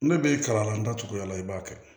Ne bɛ kalan na n da tuguya la i b'a kɛ